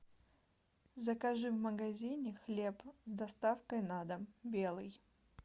закажи в магазине хлеб с доставкой на дом белый